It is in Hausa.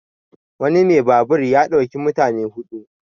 wani mai babur ya ɗauki mutane hudu